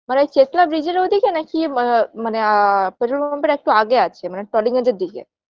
মানে ঐ চেতলা bridge -এর ওদিকে নাকি ম মানে আআ petrol pump -এর একটু আগে আছে মানে টলিগঞ্জের দিকে